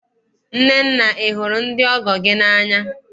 Nnenne, ị hụrụ ndị ọgọ gị n'anya?